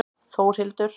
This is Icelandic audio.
Þórhildur